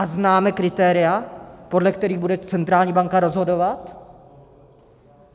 A známe kritéria, podle kterých bude centrální banka rozhodovat?